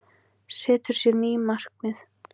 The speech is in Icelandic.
Setur sér ný markmið